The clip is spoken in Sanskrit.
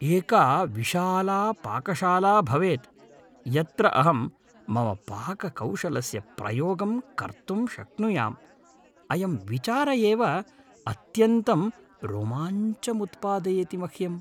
एका विशाला पाकशाला भवेत् यत्र अहं मम पाककौशलस्य प्रयोगं कर्तुं शक्नुयाम् । अयं विचार एव अत्यन्तं रोमाञ्चमुत्पादयति मह्यम् ।